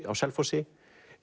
á Selfossi